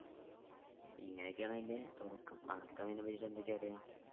ഇങ്ങനെയൊക്കെയാണ് അതിൻ്റെ തുടക്കം അനക്ക് അതിനെപ്പറ്റി എന്തൊക്കെ അറിയാ